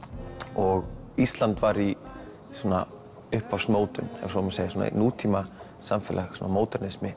og Ísland var í ef svo má segja svona nútímasamfélag